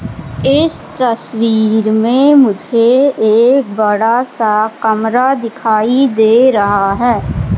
इस तस्वीर में मुझे एक बड़ा सा कमरा दिखाई दे रहा है।